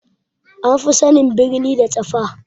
An fi sanin birni da tsafa